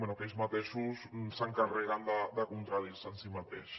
bé ells mateixos s’encarreguen de contradir se en si mateixos